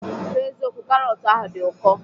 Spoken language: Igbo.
N'eziokwu, karọt ahụ di ụko.